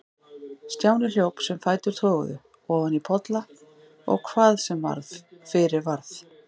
Stjáni hljóp sem fætur toguðu, ofan í polla og hvað sem fyrir varð.